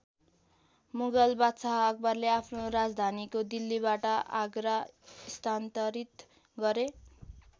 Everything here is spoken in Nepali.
मुगल बादशाह अकबरले आफ्नो राजधानीको दिल्लीबाट आगरा स्थान्तरित गरे।